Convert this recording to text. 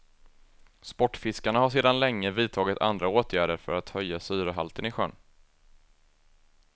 Sportfiskarna har sedan länge vidtagit andra åtgärder för att höja syrehalten i sjön.